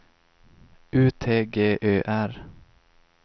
U T G Ö R